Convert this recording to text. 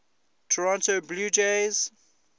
toronto blue jays